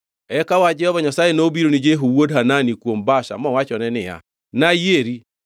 Eka wach Jehova Nyasaye nobiro ni Jehu wuod Hanani kuom Baasha mowachone niya, “Nayieri.”